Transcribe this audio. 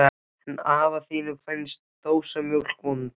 En afa þínum finnst dósamjólk vond.